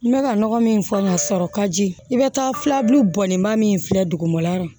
N bɛ ka nɔgɔ min fɔ ka sɔrɔ ka ji i bɛ taa filaburu bɔnni ma min filɛ dugumala